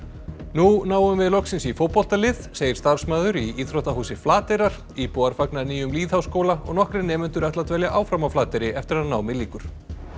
nú náum við loksins í fótboltalið segir starfsmaður í íþróttahúsi Flateyrar íbúar fagna nýjum lýðháskóla og nokkrir nemendur ætla að dvelja áfram á Flateyri eftir að námi lýkur